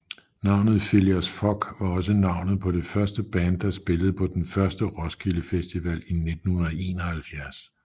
Navnet Phillias Fogg var også navnet på det første band der spillede på den første Roskilde Festival i 1971